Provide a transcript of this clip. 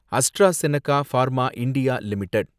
AstraZeneca pharma India limited